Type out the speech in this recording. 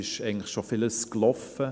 Vieles ist eigentlich schon gelaufen.